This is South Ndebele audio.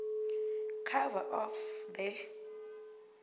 cover of the